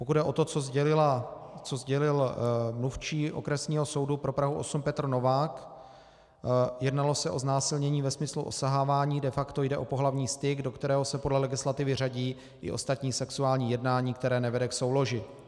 Pokud jde o to, co sdělil mluvčí Obvodního soudu pro Prahu 8 Petr Novák, jednalo se o znásilnění ve smyslu osahávání, de facto jde o pohlavní styk, do kterého se podle legislativy řadí i ostatní sexuální jednání, které nevede k souloži.